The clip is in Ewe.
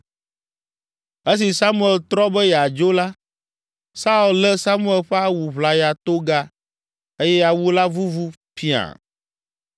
Esi Samuel trɔ be yeadzo la, Saul lé Samuel ƒe awu ʋlaya toga eye awu la vuvu piã!